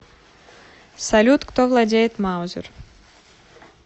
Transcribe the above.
салют кто владеет маузер